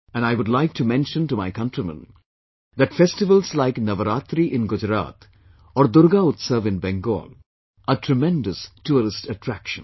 And I would like to mention to my countrymen, that festivals like Navaratri in Gujarat, or Durga Utsav in Bengal are tremendous tourist attractions